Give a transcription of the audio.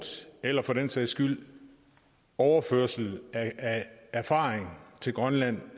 eller for den sags skyld overførsel af erfaring til grønland